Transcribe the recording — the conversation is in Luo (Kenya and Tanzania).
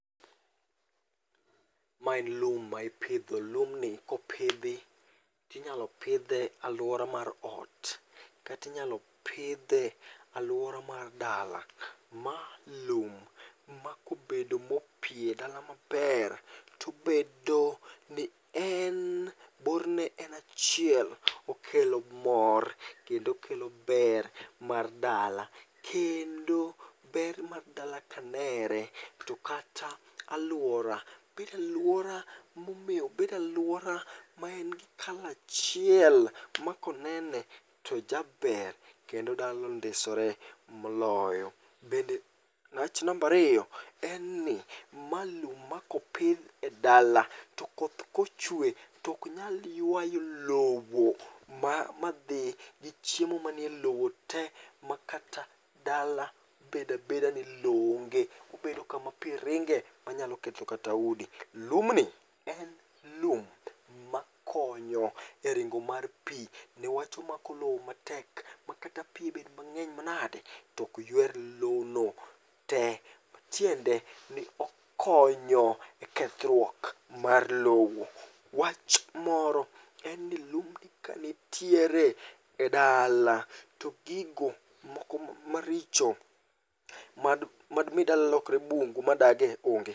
Ma en lum ma ipidho, lumni kopidhi inyalo pidhe alwora mar ot. Katinyalo pidhe alwora mar dala. Ma lum ma kobedo mopie e dala maber, tobedo ni en borne en achiel. Okelo mor kendo kelo ber mar dala. Kendo ber mar dala kanere, to kata alwora bedaluora momeo, bedaluora ma en gi kala achiel. Ma konene tojaber ma dala ondisore moloyo. Bende wach nambariyo en ni ma lum ma kopith e dala, to koth kochwe toknyal ywayo lowo madhi gi chiemo manie lowo te. Ma kata dala bedabeda ni lowo onge, obedo kama pi ringe, manyalo ketho kata udi. Lumni en lum ma konyo e ringo mar pi nikech omako lo matek makata pi bed mang'eny manade, tok ywer lo no te. Matiende ni okonyo e kethruok mar lowo. Wach moro en ni lumni kanitiere e dala, to gigo moko maricho madmi dala lokre bungu ma dage one.